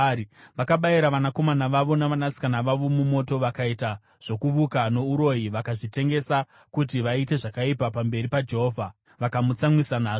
Vakabayira vanakomana vavo navanasikana vavo mumoto. Vakaita zvokuvuka nouroyi vakazvitengesa kuti vaite zvakaipa pamberi paJehovha, vakamutsamwisa nazvo.